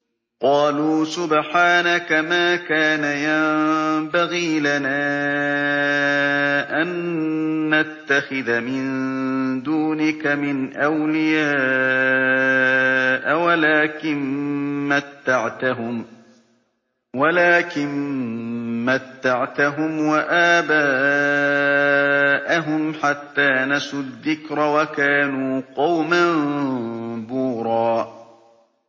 قَالُوا سُبْحَانَكَ مَا كَانَ يَنبَغِي لَنَا أَن نَّتَّخِذَ مِن دُونِكَ مِنْ أَوْلِيَاءَ وَلَٰكِن مَّتَّعْتَهُمْ وَآبَاءَهُمْ حَتَّىٰ نَسُوا الذِّكْرَ وَكَانُوا قَوْمًا بُورًا